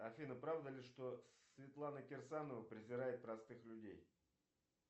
афина правда ли что светлана кирсанова презирает простых людей